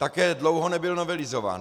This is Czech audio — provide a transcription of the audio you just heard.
Také dlouho nebyl novelizován.